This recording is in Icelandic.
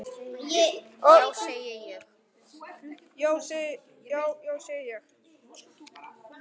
Já, já, segi ég.